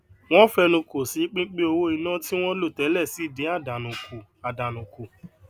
won fenuko si pipin owo ina ti won lo tele si din àdánù kù àdánù kù